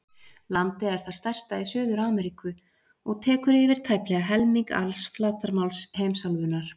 Landið er það stærsta í Suður-Ameríku og tekur yfir tæplega helming alls flatarmáls heimsálfunnar.